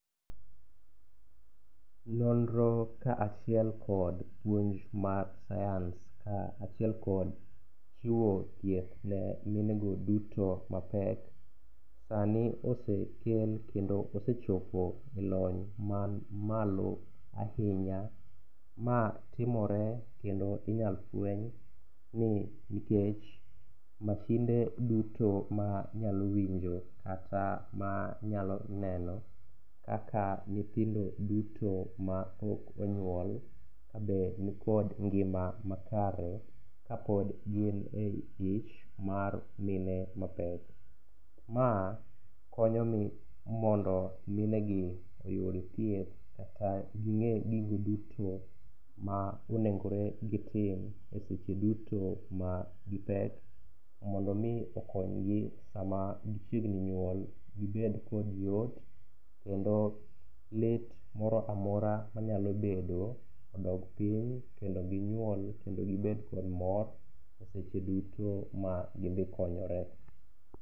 Nonro ka achiel kod puonj mar sayans ka achiel kod chiwo thieth ne minego duto mapek, sani osekel kendo osechopo e lony man malo ahinya, ma timore kendo inyalo fweny nikech mashinde duto manyalo winjo kata manyalo neno kaka nyithindo duto ma ok onyuol kabe nikod ngima makare, kapod gin e ich mar mine mapek. Ma konyogi mondo minegi oyud thieth kata ging'e gigo duto ma onegore gitim e seche duto ma gipek, mondo omi okonygi sama gichiegni nyuol, gibed kod yot, kendo lit moro amora manyalo bedo odog piny, kendop ginyuol kendo gibed kod mor seche duto ma gidhi konyore.